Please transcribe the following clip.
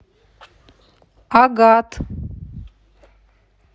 агат